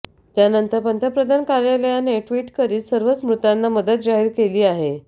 त्यानंतर पंतप्रधान कार्यालयाने ट्विट करीत सर्वच मृतांना मदत जाहीर केली आहे